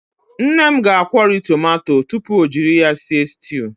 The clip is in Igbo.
Nne m na-akwori tomato tupu o jiri ya sie styuu.